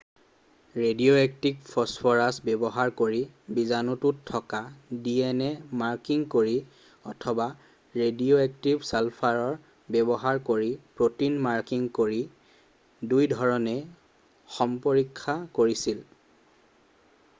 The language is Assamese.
ৰেডিঅ'এক্টিভ ফছফৰাছ ব্যৱহাৰ কৰি বীজাণুটোত থকা ডিএনএ মাৰ্কিং কৰি অথবা ৰেডিঅ'এক্টিভ ছালফাৰ ব্যৱহাৰ কৰি প্ৰটিন মাৰ্কিং কৰি দুইধৰণে সম্পৰীক্ষা কৰিছিল